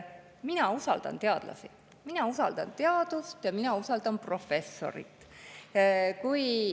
Mina usaldan teadlasi, mina usaldan teadust ja mina usaldan professorit.